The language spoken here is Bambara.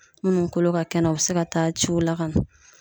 Munnu kolo ka kɛnɛ u be se ka taa ciw la ka na